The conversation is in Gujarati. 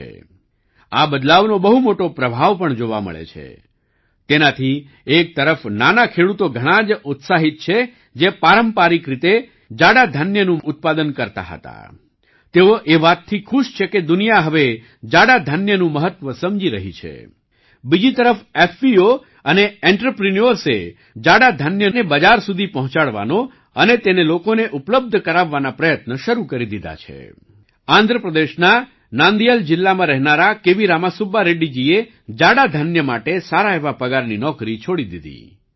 રામા સુબ્બા રેડ્ડી જીએ જાડુ ધાન્ય મિલેટ્સ માટે સારા એવા પગારની નોકરી છોડી દીધી